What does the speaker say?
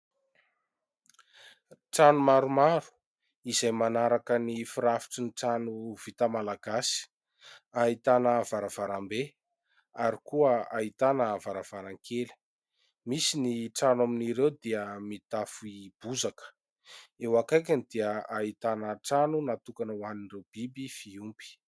Trano maromaro izay manaraka ny firafitry ny trano vita malagasy ahitana varavarambe ary koa ahitana varavarankely. Misy ny trano amin'ireo dia mitafo bozaka eo akaikiny dia ahitana trano natokana ho an'ireo biby fiompy.